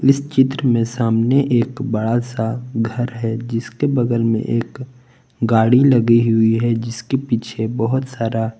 इस चित्र में सामने एक बड़ा सा घर है जिसके बगल में एक गाड़ी लगी हुई है जिसके पीछे बहुत सारा--